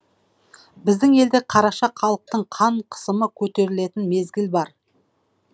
біздің елде қараша халықтың қан қысымы көтерілетін мезгіл бар